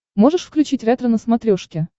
можешь включить ретро на смотрешке